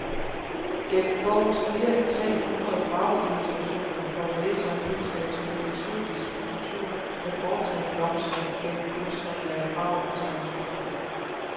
Gennem bogens flere end tre hundrede farveillustrationer får læseren kendskab til en eksotisk kultur, der fortsat blomstrer gennem kunsthåndværk, arv og traditioner.